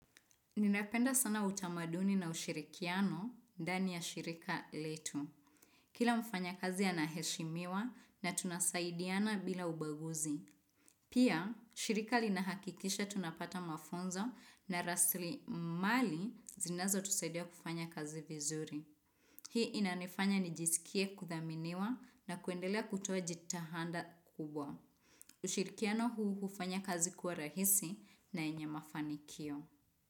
Ninapenda sana utamaduni na ushirikiano ndani ya shirika letu. Kila mfanya kazi anaheshimiwa na tunasaidiana bila ubaguzi. Pia, shirika linahakikisha tunapata mafunzo na rasli mali zinazo tusaidia kufanya kazi vizuri. Hii inanifanya nijisikie kuthaminiwa na kuendelea kutoa jitahada kubwa. Ushirikiano huu hufanya kazi kuwa rahisi na yenye mafanikio.